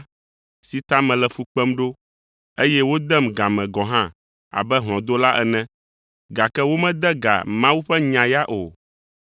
si ta mele fu kpem ɖo, eye wodem ga me gɔ̃ hã abe hlɔ̃dola ene, gake womede ga Mawu ƒe nya ya o.